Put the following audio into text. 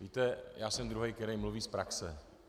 Víte, já jsem druhý, který mluví z praxe.